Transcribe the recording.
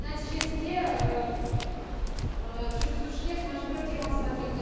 нәтижесінде жүргізушілер мәжбүрлі демалысқа кетті